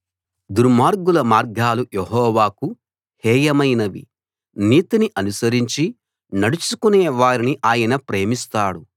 దుర్మార్గుల మార్గాలు యెహోవాకు హేయమైనవి నీతిని అనుసరించి నడుచుకునే వారిని ఆయన ప్రేమిస్తాడు